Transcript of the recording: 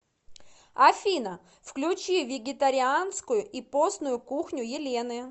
афина включи вегетарианскую и постную кухню елены